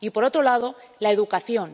Y, por otro lado, la educación.